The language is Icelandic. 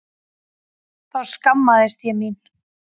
Þá skammaðist ég mín.